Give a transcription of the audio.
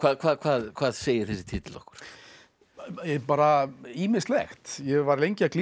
hvað hvað hvað segir þessi titill okkur bara ýmislegt ég var lengi að glíma